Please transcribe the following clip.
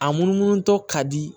A munumunu tɔ ka di